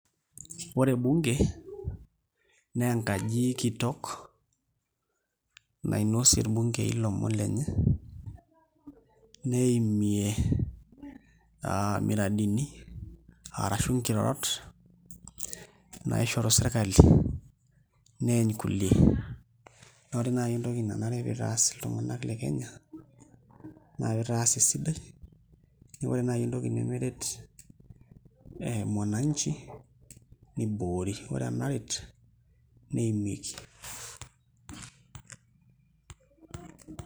Ore bunge naa enkaji kitok nainosie irbungei ilomon lenye neimie miradini arashu nkirorot naishoru sirkali neeny kulie, naa ore naai entoki nanare pee itaas iltung'anak le Kenya naa pee itaas esidai ore naai entoki nemeret aa mwananchi niboori ore enaret neimieki.